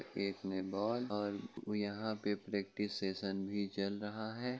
एक में बॉल और यहां पे प्रैक्टिस सेशन भी चल रहा है।